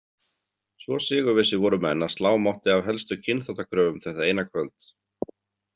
Svo sigurvissir voru menn að slá mátti af helstu kynþáttakröfum þetta eina kvöld.